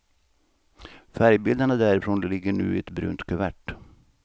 Färgbilderna därifrån ligger nu i ett brunt kuvert.